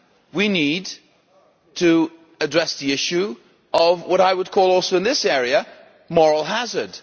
We need to address the issue of what I would call also in this area moral hazard'.